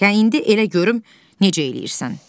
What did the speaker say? Hə, indi elə görüm necə eləyirsən.